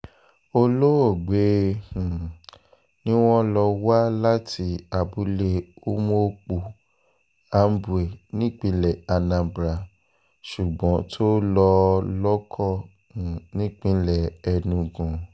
olóògbé um ni wọ́n lọ wá láti abúlé umuokpu ambwe nípínlẹ̀ anambra ṣùgbọ́n tó lọ́ọ́ lọ́kọ um nípínlẹ̀ enugu